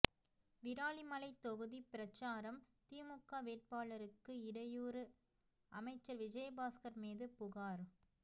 விராலிமலை தொகுதி பிரசாரம் திமுக வேட்பாளருக்கு இடையூறு அமைச்சர் விஜயபாஸ்கர் மீது புகார்